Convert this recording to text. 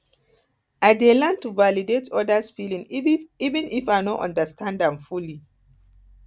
i dey learn to validate others feelings even if i no understand am fully